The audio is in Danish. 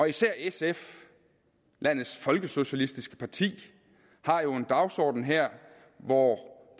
især sf landets folkesocialistiske parti har jo en dagsorden her hvor